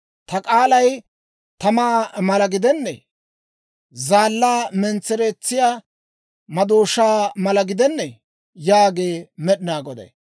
Ta k'aalay tamaa mala gidennee? Zaallaa mentsereetsiyaa madooshaa mala gidennee?» yaagee Med'inaa Goday.